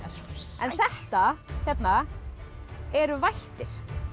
en þetta hérna eru vættir